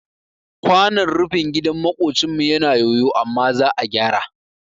Kwanon rufin gidan maƙocinmu yana yoyo amma za a gyara